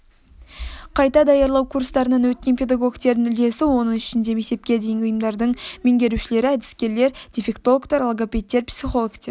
қайта даярлау курстарынан өткен педагогтердің үлесі оның ішінде мектепке дейінгі ұйымдардың меңгерушілері әдіскерлер дефектологтер логопедтер психологтер